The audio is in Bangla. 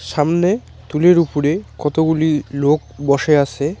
সামনে তুলের উপরে কতগুলি লোক বসে আছে।